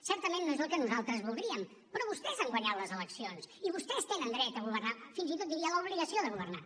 certament no és el que nosaltres voldríem però vostès han guanyat les eleccions i vostès tenen dret a governar fins i tot diria l’obligació de governar